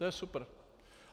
To je super.